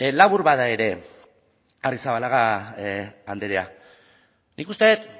labur bada ere arrizabalaga andrea nik uste dut